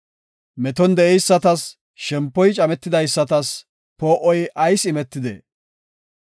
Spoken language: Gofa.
“Meton de7eysatas, shempoy cametidaysatas, poo7oy ayis imetidee?